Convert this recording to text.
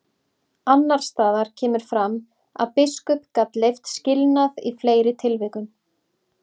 Annars staðar kemur fram að biskup gat leyft skilnað í fleiri tilvikum.